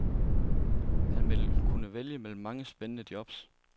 Han vil kunne vælge mellem mange spændende jobs.